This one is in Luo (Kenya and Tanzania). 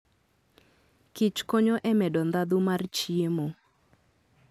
kichkonyo e medo ndhadhu mar chiemo.